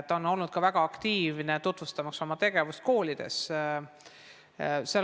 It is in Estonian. Ta on olnud väga aktiivne, tutvustamaks oma tegevust koolides.